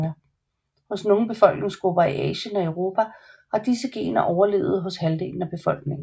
Hos nogle befolkningsgrupper i Asien og Europa har disse gener overlevet hos halvdelen af befolkningen